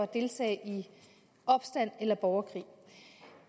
deltage i opstand eller borgerkrig